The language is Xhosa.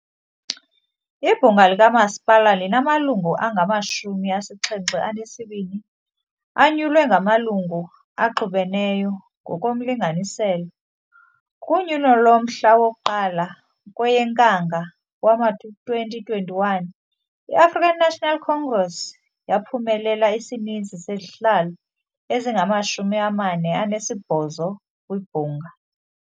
Ibhunga likamasipala linamalungu angamashumi asixhenxe anesibini anyulwe ngamalungu axubeneyo ngokomlinganiselo . Kunyulo lomhla woku1 kweyeNkanga wama2021 i- African National Congress yaphumelela isininzi sezihlalo ezingamashumi amane anesibhozo kwibhunga.